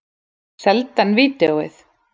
Seldi hann vídeóið?